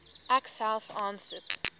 ek self aansoek